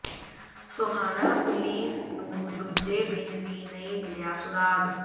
Sohana police ਨੂੰ ਦੂਜੇ ਦਿਨ ਵੀ ਨਹੀਂ ਮਿਲਿਆ ਸੁਰਾਗ਼